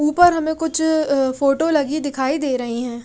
ऊपर हमें कुछ फोटो लगी दिखाई दे रही हैं।